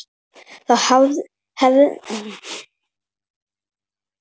Þá hefði hún verið þannig: